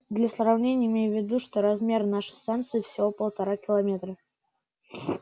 для сравнения имей в виду что размер нашей станции всего полтора километра